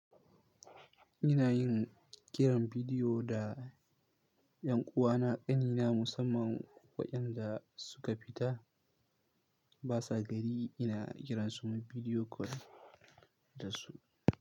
Ina yin kiran bidiyo da ƴan uwana ƙanina musamman waɗanda suka fita ba sa gari. Ina kiran su muyi bidiyo kol da su.